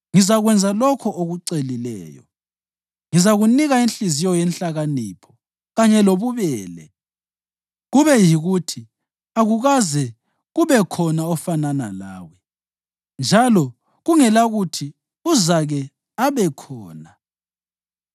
ngizakwenza lokho okucelileyo. Ngizakunika inhliziyo yenhlakanipho kanye lobubele, kube yikuthi akukaze kube khona ofanana lawe, njalo kungelakuthi uzake abekhona.